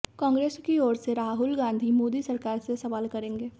कांग्रेस की ओर से राहुल गांधी मोदी सरकार से सवाल करेंगे